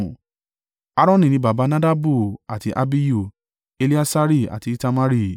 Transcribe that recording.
Aaroni ni baba Nadabu àti Abihu, Eleasari àti Itamari.